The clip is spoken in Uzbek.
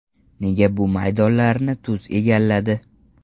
Nega bu maydonlarni tuz egalladi?